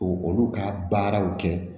O olu ka baaraw kɛ